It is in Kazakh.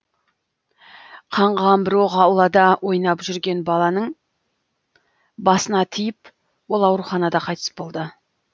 қаңғыған бір оқ аулада ойнап жүрген баланың басына тиіп ол ауруханада қайтыс болды